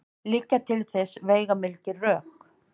Liggja til þess veigamikil rök.